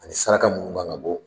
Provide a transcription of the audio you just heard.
Ani saraka munu man kan ka bɔ.